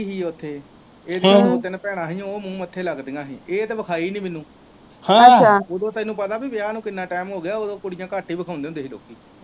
ਇਹਦੀਆਂ ਦੋ ਦਿਨ ਭੈਣਾਂ ਹੀ ਉਹ ਮੂੰਹ ਮੱਥੇ ਲਗਦੀਆਂ ਹੀ ਇਹ ਤੇ ਵਿਖਾਈ ਨੀ ਮੈਨੂੰ ਉਦੋਂ ਤੈਨੂੰ ਪਤਾ ਵਿਆਹ ਨੂੰ ਕਿੰਨਾ ਟਾਈਮ ਹੋਗਿਆ ਉਦੋਂ ਕੁੜੀਆਂ ਘੱਟ ਈ ਵਖਾਓਂਦੇ ਹੁੰਦੇ ਹੀ ਲੋਕੀ।